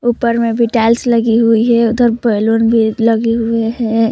ऊपर में भी टाइल्स लगी हुई है उधर बैलून भी लगे हुए है।